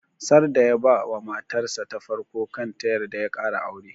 Sarda ya ba wa matar sa ta farko kan ta yarda ya kara aure